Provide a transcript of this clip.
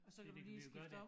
Og så kan du lige skifte om